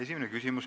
Esimene küsimus.